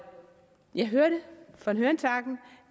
jeg hørte von hørensagen